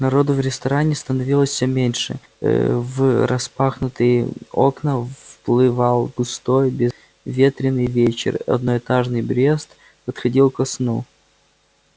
народу в ресторане становилось все меньше в распахнутые окна вплывал густой безветренный вечер одноэтажный брест отходил ко сну